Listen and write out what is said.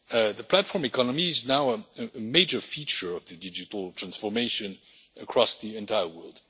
The platform economy is now a major feature of the digital transformation across the entire world.